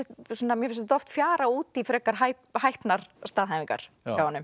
mér finnst þetta oft fjara út í frekar hæpnar staðhæfingar hjá honum